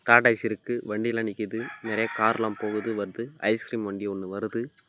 Tata AC இருக்கு வண்டியில நிக்குது நறைய கார் எல்லாம் போகுது வருது ஐஸ் கிரீம் வண்டி ஒன்னு வருது.